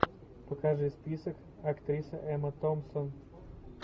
покажи список актриса эмма томпсон